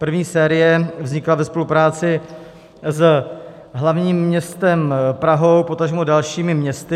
První série vznikla ve spolupráci s hlavním městem Prahou, potažmo dalšími městy.